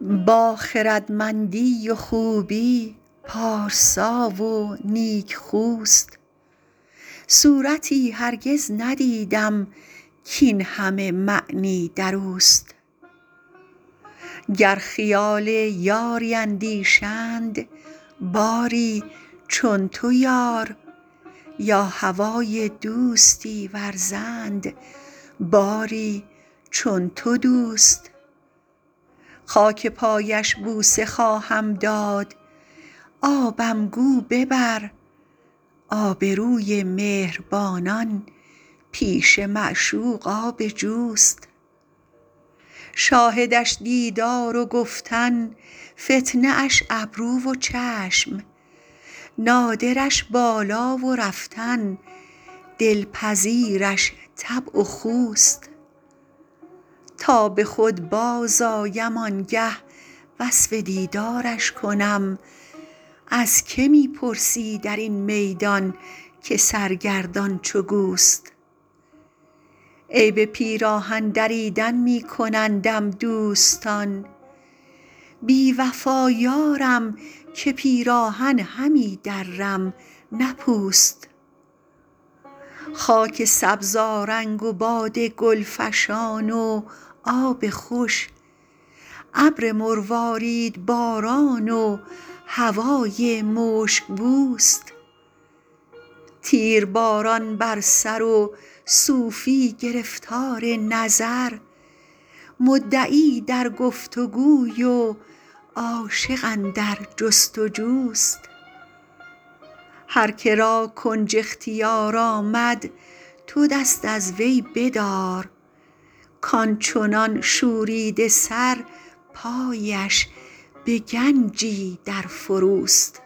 با خردمندی و خوبی پارسا و نیکخوست صورتی هرگز ندیدم کاین همه معنی در اوست گر خیال یاری اندیشند باری چون تو یار یا هوای دوستی ورزند باری چون تو دوست خاک پایش بوسه خواهم داد آبم گو ببر آبروی مهربانان پیش معشوق آب جوست شاهدش دیدار و گفتن فتنه اش ابرو و چشم نادرش بالا و رفتن دلپذیرش طبع و خوست تا به خود بازآیم آن گه وصف دیدارش کنم از که می پرسی در این میدان که سرگردان چو گوست عیب پیراهن دریدن می کنندم دوستان بی وفا یارم که پیراهن همی درم نه پوست خاک سبزآرنگ و باد گل فشان و آب خوش ابر مرواریدباران و هوای مشک بوست تیرباران بر سر و صوفی گرفتار نظر مدعی در گفت وگوی و عاشق اندر جست وجوست هر که را کنج اختیار آمد تو دست از وی بدار کان چنان شوریده سر پایش به گنجی در فروست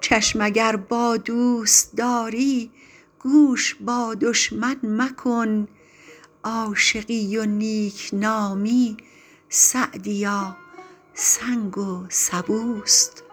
چشم اگر با دوست داری گوش با دشمن مکن عاشقی و نیک نامی سعدیا سنگ و سبوست